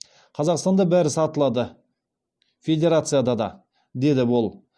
қазақстанда бәрі сатылады федерацияда да деді ол